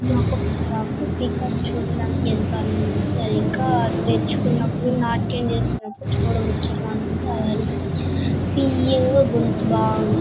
ఇది ఒక పీకాక్ కాక్ చూడడానికి ఎంతో అందం గా ఉంటుంది .అది ఇంకా తెరుచుకున్నపుడు నాట్యం చేస్తున్నప్పుడు చూడ ముచ్చటగా ఉంటుంది. అది అరిస్తే తియ్యం గొంతు బా ఉంటుం--